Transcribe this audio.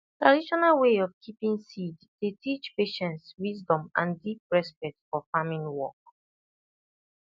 traditional way of keeping seed dey teach patience wisdom and deep respect for farming work